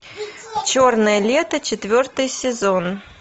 черное лето четвертый сезон